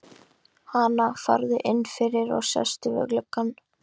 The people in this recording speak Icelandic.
Hana, farðu inn fyrir, sittu við gluggann.